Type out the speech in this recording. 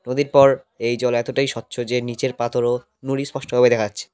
নদীর পর এই জল এতটাই স্বচ্ছ যে নীচের পাথর ও নুড়ি স্পষ্টভাবে দেখা যাচ্ছে।